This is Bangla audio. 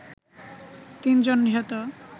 তিনজন নিহত